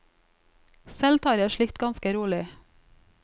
Selv tar jeg slikt ganske rolig.